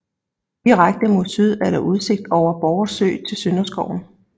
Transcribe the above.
Direkte mod syd er der udsigt over Borre Sø til Sønderskoven